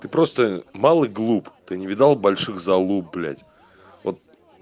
ты просто мал и глуп ты не видал больших залуп блядь вот